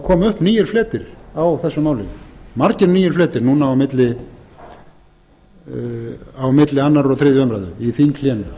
koma upp nýir fletir á þessu máli margir nýir fletir núna milli annars og þriðju umræðu í þinghléinu